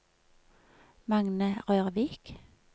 Magne Rørvik